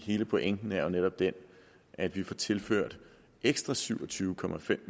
hele pointen er jo netop den at vi får tilført ekstra syv og tyve